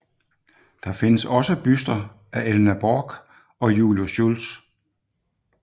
Der findes også buster af Elna Borch og Julius Schultz